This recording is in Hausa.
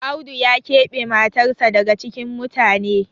Audu ya kebe matarsa daga cikin mutane